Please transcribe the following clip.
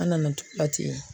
An nana ten.